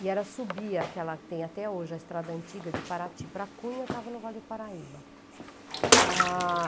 E era subir aquela que tem até hoje, a estrada antiga de Paraty para Cunha, estava no Vale do Paraíba. Ah....